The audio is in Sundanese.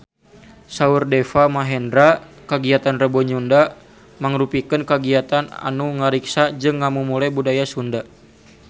Saur Deva Mahendra kagiatan Rebo Nyunda mangrupikeun kagiatan anu ngariksa jeung ngamumule budaya Sunda